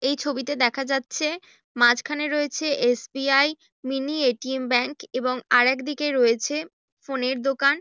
এই ছবিতে দেখা যাচ্ছে মাঝখানে রয়েছে এস.বি.আই. Mini ATM. ব্যাঙ্ক এবং আর এক দিকে রয়েছে ফোনের দোকান।